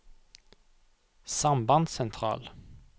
sambandssentral